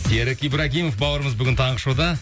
серік ибрагимов бауырымыз бүгін таңғы шоуда